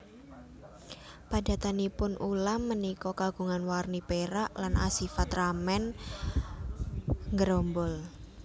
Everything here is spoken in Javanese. Padatanipun ulam punika kagungan warni pérak lan asifat remen nggerombol